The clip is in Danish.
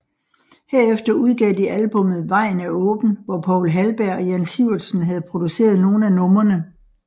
Herefter udgav de albummet Vejen Er Åben hvor Poul Halberg og Jan Sivertsen havde produceret nogle af numrene